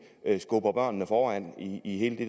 skubber børnene foran i hele det